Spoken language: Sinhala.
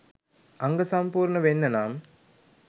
අංග සම්පූර්ණ වෙන්න නම්